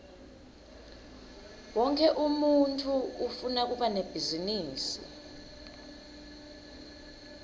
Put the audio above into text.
wonkhe umuntfu ufuna kuba nebhizinisi